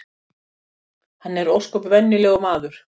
Hann er ósköp venjulegur maður